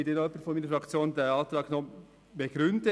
Es wird dann noch jemand von der Fraktion den Antrag begründen.